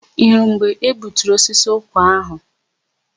Ị hụrụ mgbe e gbuturu osisi ụkwa áhụ̀?